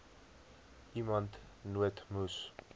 iemand nood moes